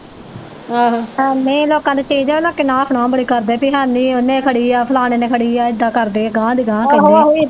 ਆਹੋ ਨਹੀਂ ਲੋਕਾਂ ਕੋ ਚੀਜ਼ ਹੋਵੇ ਨਾ ਲੋਕੀ ਨੋ ਖਣੋ ਬੜੀ ਕਰਦੇ ਪੀ ਹੈਨੀ ਉਹਨੇ ਖੜੀ ਆ ਫਲਾਣੇ ਨੇ ਖੜੀ ਆ ਏਦਾਂ ਕਰਦੇ ਆ ਗਾਹ ਦੀ ਗਾਹ ਕਹਿੰਦੇ ਈ